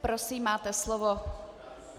Prosím, máte slovo.